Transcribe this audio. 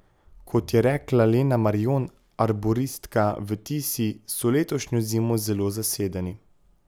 Kot je rekla Lena Marjon, arboristka v Tisi, so letošnjo zimo zelo zasedeni.